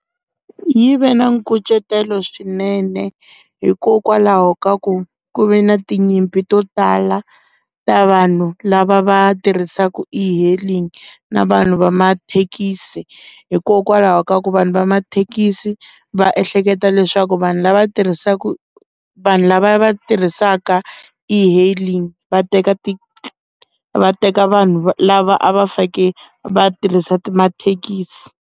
Yi ve na nkucetelo swinene hikokwalaho ka ku ku ve na tinyimpi to tala ta vanhu lava va tirhisaka e-hailing na vanhu va mathekisi hikokwalaho ka ku vanhu va mathekisi va ehleketa leswaku vanhu lava tirhisaka vanhu lava va tirhisaka e-hailing va teka ti va teka vanhu lava a va fake vatirhisa mathekisi.